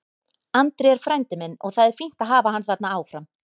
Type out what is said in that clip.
Andri er frændi minn og það er fínt að hafa hann þarna áfram.